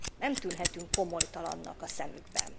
Nem tűnhetünk komolytalannak a szemükben.